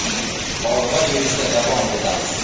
Olg‘a yurishda davom etamiz.